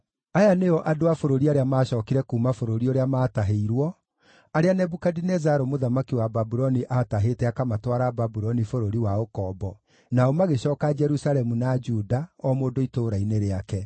Aya nĩo andũ a bũrũri arĩa maacookire kuuma bũrũri ũrĩa maatahĩirwo, arĩa Nebukadinezaru mũthamaki wa Babuloni aatahĩte akamatwara Babuloni bũrũri wa ũkombo (nao magĩcooka Jerusalemu na Juda, o mũndũ itũũra-inĩ rĩake,